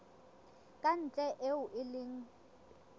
ka ntle eo e leng